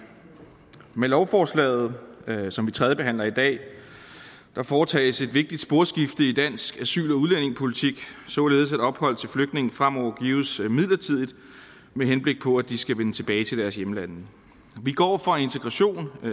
med lovforslaget som vi tredjebehandler i dag foretages et vigtigt sporskifte i dansk asyl og udlændingepolitik således at ophold til flygtninge fremover gives midlertidigt med henblik på at de skal vende tilbage til deres hjemlande vi går fra integration af